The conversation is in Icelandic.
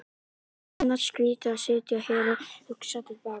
Það er annars skrýtið að sitja hér og hugsa til baka.